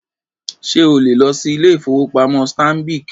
Ṣé o lè lọ sí ilé-ìfowópamọ́ Stanbic?